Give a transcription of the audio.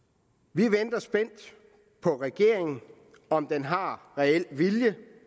vi venter spændt på regeringen om den har reel vilje